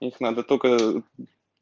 их надо только